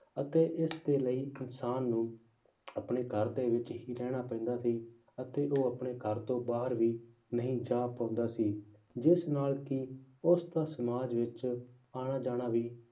ਅਤੇ ਇਸਦੇ ਲਈ ਇਨਸਾਨ ਨੂੰ ਆਪਣੇ ਘਰ ਦੇ ਵਿੱਚ ਹੀ ਰਹਿਣਾ ਪੈਂਦਾ ਸੀ ਅਤੇ ਉਹ ਆਪਣੇ ਘਰ ਤੋਂ ਬਾਹਰ ਵੀ ਨਹੀਂ ਜਾ ਪਾਉਂਦਾ ਸੀ ਜਿਸ ਨਾਲ ਕਿ ਉਸਦਾ ਸਮਾਜ ਵਿੱਚ ਆਉਣਾ ਜਾਣਾ ਵੀ